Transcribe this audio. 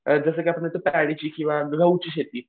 जसं की आपल्या इथं पॅडीची किंवा गहूची